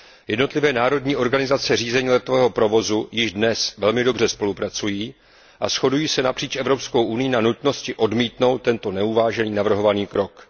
Jednotlivé národní organizace řízení letového provozu již dnes velmi dobře spolupracují a shodují se napříč Evropskou unií na nutnosti odmítnout tento neuvážený navrhovaný krok.